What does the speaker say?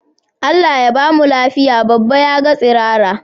Allah Ya bamu lafiya baba yaga tsirara?